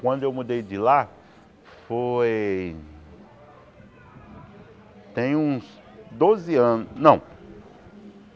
Quando eu mudei de lá foi... Tem uns doze anos... Não.